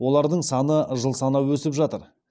олардың саны жыл санап өсіп жатыр